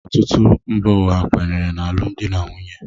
Ọtụtụ mba ụwa kwenyere n’alụmdi na nwunye